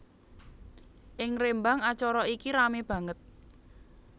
Ing Rembang acara iki ramé banget